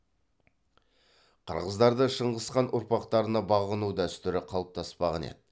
қырғыздарда шыңғысхан ұрпақтарына бағыну дәстүрі қалыптаспаған еді